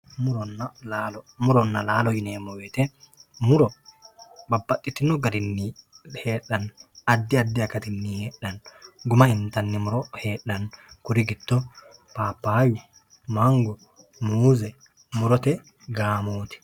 Muronna laalo ,murona laalo yineemmo woyte muro babbaxxotino garinni heedhano addi addi akati guma intanni muro heedhano kuri giddo papayu muuze murote gaamattano.